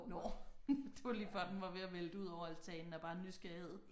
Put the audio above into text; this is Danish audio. Nåh det var lige før den var ved at vælte udover altanen af bare nysgerrighed